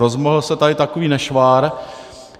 Rozmohl se tady takový nešvar.